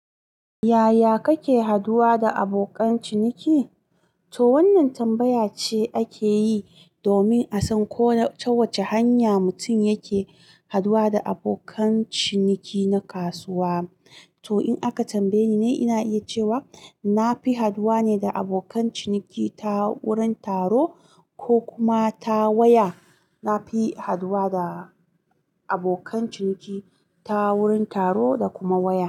Yaya kake haduwa da abokan ciniki? To wannan tambaya ce ake yi domin a san ko da ta wace hanya mutum yake haɗuwa da abokan ciniki na kasuwa. To in aka tambaye ni, ina iya cewa nafi haɗuwa ne da abokan ciniki ta wurin taro ko kuma ta waya. Na fi haduwa da abokan ciniki ta wurin taro da kuma waya.